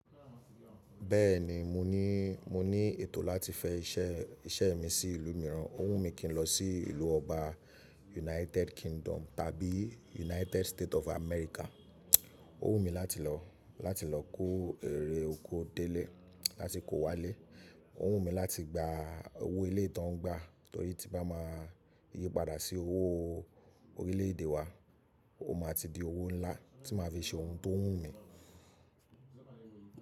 Bẹ́ẹ̀ni, mo ní, mo ní ètò láti fẹ ise yen iṣẹ́ mi sí ìlú mìíràn. Ó wù mí kí n lọ sí ìlú ọba United Kingdom tàbí United State of America. Ó wù mí láti lọ, láti lọ kó èrè oko délé láti kó wá lé. Ó wù mí láti gba owó eleyii ti won ǹgbá torí tí bá máa yíi padà sí owó orílẹ̀ èdè wa, ó máa ti di owó ńlá tí máa fi ṣe ohun tó wù mí.